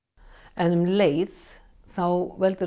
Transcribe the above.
en um leið veldur